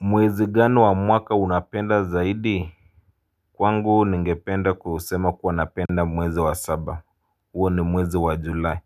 Mwezi gani wa mwaka unapenda zaidi. Kwangu ningependa kusema kuwa napenda mwezi wa saba huo ni mwezi wa julai.